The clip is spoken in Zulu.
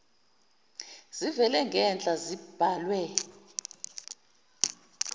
zivela ngenhla zibhalwe